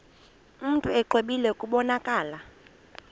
mntu exwebile kubonakala